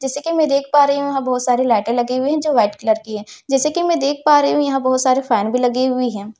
जैसे कि मैं देख पा रही हूं यहां बहुत सारे लाइटें लगे हुए हैं जो वाइट कलर की है जैसे कि मैं देख पा रही हूं यहां बहुत सारे फैन भी लगी हुई है।